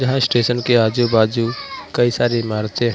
यहा स्टेशन के आजू बाजू कई सारी इमारतें--